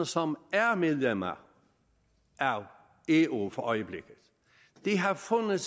som er medlemmer af eu for øjeblikket har fundet